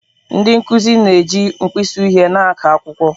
Ndị nkuzi na-eji mkpịsị uhie na-aka akwụkwọ.